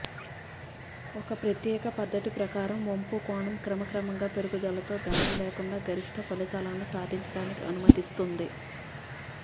ఒక ప్రత్యేక పద్ధతి ప్రకారం వంపు కోణం క్రమక్రమంగా పెరుగుదలతో గాయం లేకుండా గరిష్ట ఫలితాలను సాధించడానికి అనుమతిస్తుంది